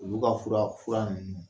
Olu ka fura ninnu